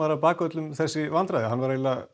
að baka öllum þessi vandræði hann var